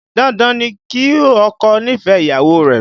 Dandan ni kí ọkọ nífẹ̀ẹ́ ìyàwó rẹ̀